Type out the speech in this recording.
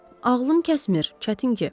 Ağlım kəsmir, çətin ki.